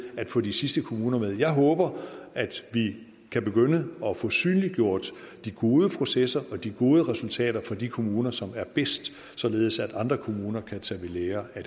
at få de sidste kommuner med jeg håber at vi kan begynde at få synliggjort de gode processer og de gode resultater for de kommuner som er bedst således at andre kommuner kan tage ved lære af